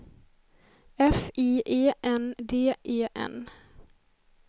F I E N D E N